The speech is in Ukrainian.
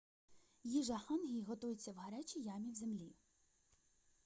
їжа хангі готується в гарячій ямі в землі